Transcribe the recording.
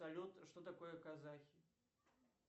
салют что такое казахи